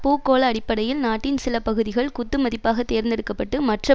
பூகோள அடிப்படையில் நாட்டின் சில பகுதிகள் குத்துமதிப்பாக தேர்ந்தெடுக்க பட்டு மற்ற